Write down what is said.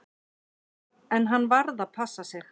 En hann varð að passa sig.